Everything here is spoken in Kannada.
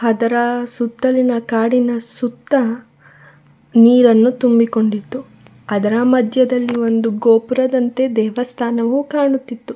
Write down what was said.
ಅದರ ಸುತ್ತಲಿನ ಕಾಡಿನ ಸುತ್ತ ನೀರನ್ನು ತುಂಬಿಕೊಂಡಿತ್ತು ಅದರ ಮಧ್ಯದಲ್ಲಿ ಒಂದು ಗೋಪುರದಂತೆ ದೇವಸ್ಥಾನವೂ ಕಾಣಿಸುತ್ತಿತ್ತು.